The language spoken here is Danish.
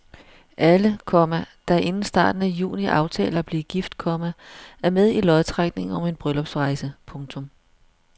Alle, komma der inden starten af juni aftaler at blive gift, komma er med i lodtrækningen om en bryllupsrejse. punktum